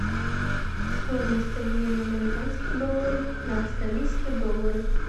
стоимость обмена американских долларов на австралийские доллары